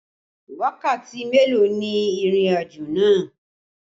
Wákàtí mélòó ni ìrìnàjò náà?